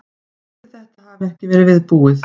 Ætli þetta hafi ekki verið viðbúið.